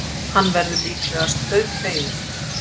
Hann verður líklegast dauðfeginn.